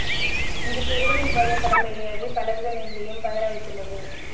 இந்த சிறுவனின் புகைப்படம் வெளியாகி பலரது நெஞ்சையும் பதற வைத்துள்ளது